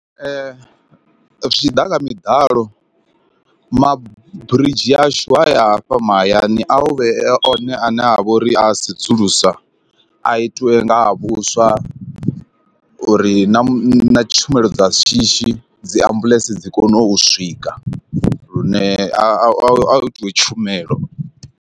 Zwi tshiḓa kha miḓalo, maburidzhi ashu haya a fha mahayani a u vhe one a ne a vha uri a sedzulusa a itiwe ha vhuswa uri na tshumelo dza shishi dzi ambuḽentse dzi kone u swika lune a a a hu itiwe tshumelo.